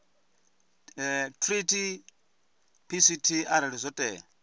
treaty pct arali zwo tea